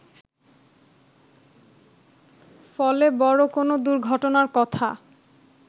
ফলে বড় কোন দুর্ঘটনার কথা